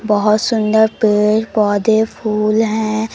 बहोत सुंदर पेड़ पोधै फूल हैं।